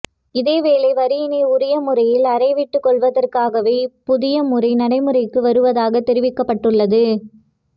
இதேவேளை வரியினை உரிய முறையில் அறவிட்டுக்கொள்வதற்காகவே இப் புதிய முறை நடைமுறைக்கு வருவதாக தெரிவிக்கப்பட்டுள்ளது